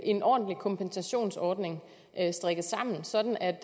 en ordentlig kompensationsordning strikket sammen sådan at